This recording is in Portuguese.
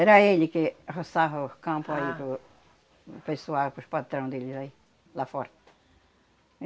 Era ele que roçava o campo aí para o pessoal, para os patrão dele aí, lá fora.